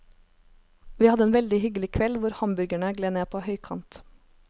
Vi hadde en veldig hyggelig kveld hvor hamburgerne gled ned på høykant.